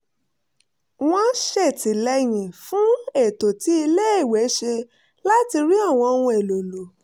wọ́n ṣètìlẹ́yìn fún ètò tí iléèwé ṣe láti rí àwọn ohun èlò lò